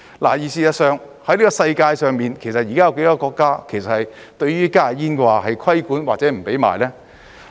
事實上，在世界上，現時有多少個國家對於加熱煙是有規管或者禁止售賣呢？